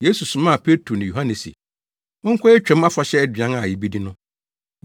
Yesu somaa Petro ne Yohane se, “Monkɔyɛ Twam Afahyɛ aduan a yebedi no.”